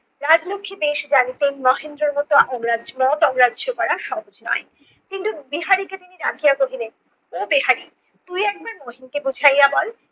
রাজলক্ষী বেশ জানিতেন মহেন্দ্রর মত মত অগ্রাহ্য করা সহজ নয় কিন্তু বিহারীকে তিনি ডাকিয়া কহিলেন- ও বিহারি তুই একবার মহিনকে বুঝাইয়া বল।